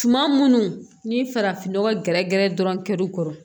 Suma minnu ni farafin nɔgɔ gɛrɛ gɛrɛ dɔrɔn kɛr'u kɔrɔ